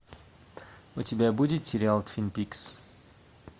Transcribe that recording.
у тебя будет сериал твин пикс